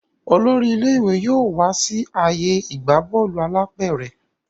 olórí ilé ìwé yóò wá sí ààyè ìgbà Bọ́ọ̀lù alápẹ̀rẹ̀